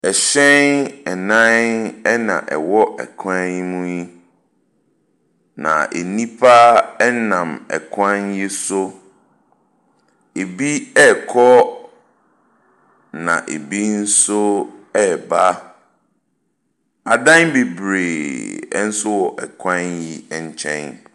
Ɛhyɛn nan na ɛwɔ kwan mu yi. Na nnipa nam kwan yi so. Ebi rekɔ na ebi nso reba. Adan bebree nso wɔ kwan yi nkyɛn.